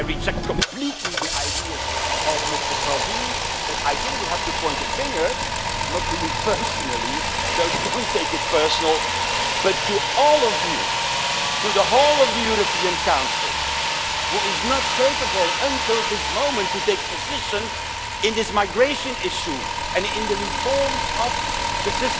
I reject completely the ideas of Mr Salvini, but I think we have to point the finger not at you personally, so don't take it personally, but at all of you, at the whole of the European Council which is not capable until this moment to take a position on this migration issue and on the reform of the